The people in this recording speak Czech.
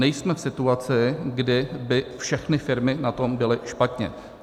Nejsme v situaci, kdy by všechny firmy na tom byly špatně.